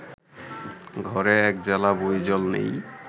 ঘরে এক জালা বই জল নেই